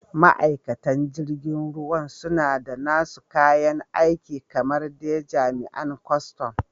Ma'aikatan jirgin ruwan suna da nasu kayan aiki kamar dai jami'an kustum.